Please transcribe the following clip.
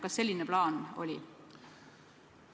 Kas selline plaan oli?